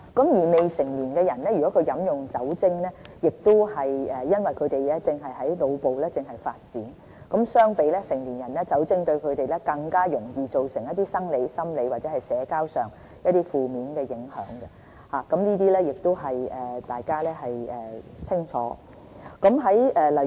如果未成年人士飲用酒精，因為他們的腦部正在發展，相比成年人，酒精對他們更容易造成一些生理、心理或社交上的負面影響，這些大家都清楚。